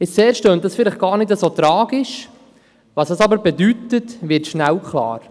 Auf den ersten Blick klingt dies vielleicht gar nicht so tragisch, doch was es bedeutet, wird rasch klar.